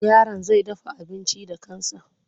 Yaron zai dafa abinci da kansa.